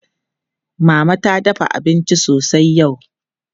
Mama ta dafa abinci sosai yau.